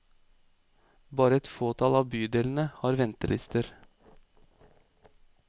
Bare et fåtall av bydelene har ventelister.